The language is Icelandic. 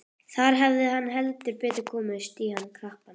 Þar hafði hann heldur betur komist í hann krappan.